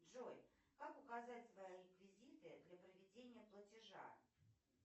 джой как указать свои реквизиты для проведения платежа